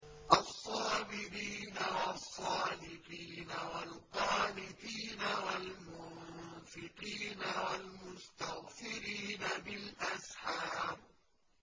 الصَّابِرِينَ وَالصَّادِقِينَ وَالْقَانِتِينَ وَالْمُنفِقِينَ وَالْمُسْتَغْفِرِينَ بِالْأَسْحَارِ